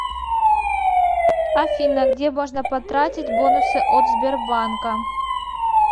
афина где можно потратить бонусы от сбербанка